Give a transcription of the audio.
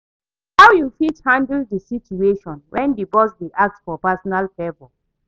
How you fit handle di situation when di boss dey ask for personal favor?